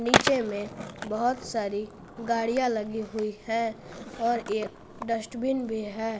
नीचे में बहुत सारी गाड़ियां लगी हुई है और एक डस्टबिन भी है।